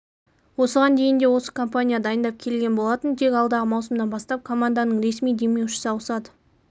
осыған дейін де осы компания дайындап келген болатын тек алдағы маусымнан бастап команданың ресми демеушісі ауысады